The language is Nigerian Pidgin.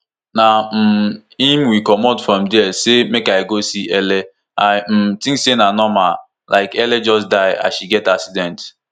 na um im we comot from dia say make i go see ele i um tink say na normal like ele just die as she get accident